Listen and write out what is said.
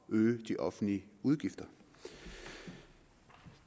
øge de offentlige udgifter